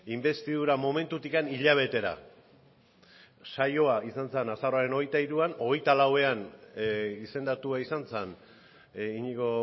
inbestidura momentutik hilabetera saioa izan zen azaroaren hogeita hiruan hogeita lauan izendatua izan zen iñigo